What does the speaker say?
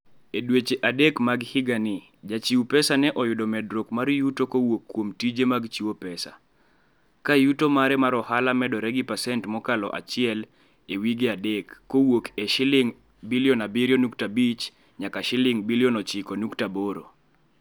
E dweche adek mag higani, jachiw pesa ne oyudo medruok mar yuto kowuok kuom tije mag chiwo pesa, ka yuto mare mar ohala medore gi pasent mokalo achiel e wi adek kowuok e Sh7.5 billion nyaka Sh9.8 billion.